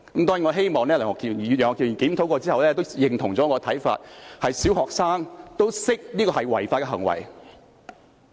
當然，我希望楊岳橋議員在檢討後也認同我的看法，便是小學生也知道這是違法行為。